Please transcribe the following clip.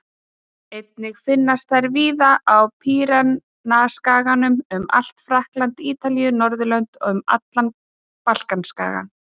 Einnig finnast þær víða á Pýreneaskaganum, um allt Frakkland, Ítalíu, Niðurlönd og um allan Balkanskaga.